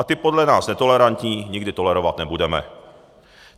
A ty podle nás netolerantní, nikdy tolerovat nebudeme."